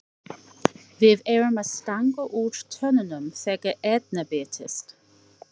Við erum að stanga úr tönnunum þegar Erna birtist.